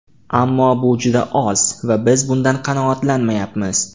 Ammo bu juda oz va biz bundan qanoatlanmayapmiz.